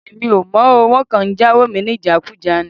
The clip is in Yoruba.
Èmi ò mọ̀ o. Wọ́n kàn ń jáwo mi ní ìjákùjá ni.